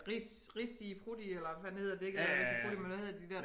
Ris Risifrutti eller hvad fanden det hedder det ikke Risifrutti men hvad hedder de der